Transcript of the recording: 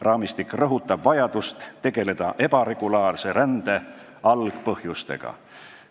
Raamistik rõhutab vajadust tegeleda ebaregulaarse rände algpõhjustega.